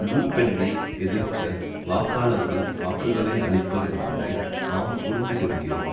லு பென்னை எதிர்க்க வாக்காளர்கள் வாக்குகளை அளிப்பர் என்பதை நாம் புரிந்து கொள்கிறோம்